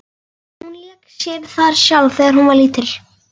Hún lék sér þar sjálf þegar hún var lítil.